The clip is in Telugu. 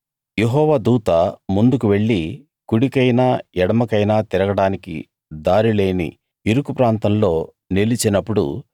యెహోవా దూత ముందుకు వెళ్లి కుడికైనా ఎడమకైనా తిరగడానికి దారిలేని ఇరుకు ప్రాంతంలో నిలిచినప్పుడు